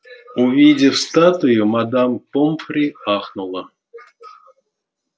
увидев статую мадам помфри ахнула